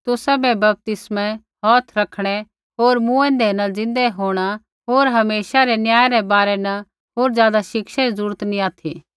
तुसाबै बपतिस्मै हौथ रखणै होर मूँऐंदै रै ज़िन्दै होंणा होर हमेशा रै न्याय रै बारै न होर ज़ादा शिक्षा री जरूरत नैंई ऑथि